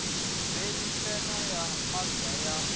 veni tshena ya mazda ya